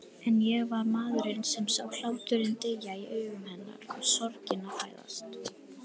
En ég var maðurinn sem sá hláturinn deyja í augum hennar og sorgina fæðast.